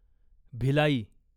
Bhilai